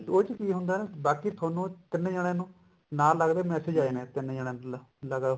ਉਹਦੇ ਚ ਕੀ ਹੁੰਦਾ ਬਾਕੀ ਥੋਨੂੰ ਤਿੰਨ ਜਾਣਿਆ ਨੂੰ ਨਾਲ ਦੀ ਨਾਲ message ਆ ਜਾਣੇ ਨੇ ਤਿੰਨ ਜਣਿਆ ਨੂੰ ਲਗਾ